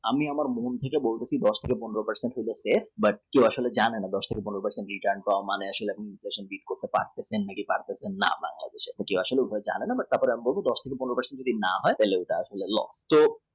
আমি আমার মনমতো দশ থেকে পনেরো per cent রেখে return পাওয়ার মানে আসলে যদি জানেন আপনার যদি দশ থেকে পনেরো per cent না হয় তাহলে এটা loss